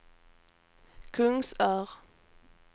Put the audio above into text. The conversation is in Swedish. Kungsör